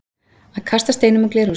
Að kasta steinum úr glerhúsi